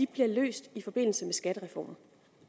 bliver løst i forbindelse med skattereformen